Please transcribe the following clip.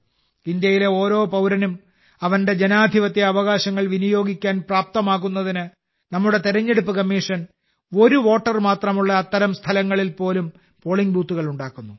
ഭാരതത്തിലെ ഓരോ പൌരനും അവന്റെ ജനാധിപത്യ അവകാശങ്ങൾ വിനിയോഗിക്കാൻ പ്രാപ്തമാക്കുന്നതിന് നമ്മുടെ തിരഞ്ഞെടുപ്പ് കമ്മീഷൻ ഒരു വോട്ടർ മാത്രമുള്ള അത്തരം സ്ഥലങ്ങളിൽ പോലും പോളിംഗ് ബൂത്തുകൾ നിർമ്മിക്കുന്നു